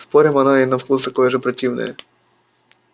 спорим оно и на вкус такое же противное